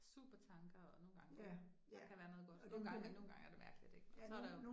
Supertanker og, nogle gange kan, der kan være noget godt, og nogle gange og nogle gange er det mærkeligt, og så der jo